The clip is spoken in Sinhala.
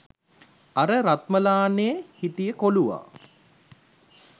අර රත්මලානෙ හිටිය කොලුවා